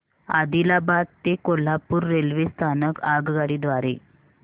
आदिलाबाद ते कोल्हापूर रेल्वे स्थानक आगगाडी द्वारे